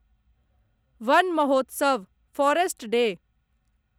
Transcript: one Mahotsav forest day